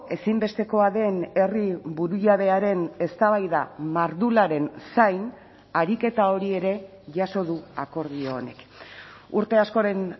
ezinbestekoa den herri burujabearen eztabaida mardularen zain ariketa hori ere jaso du akordio honek urte askoren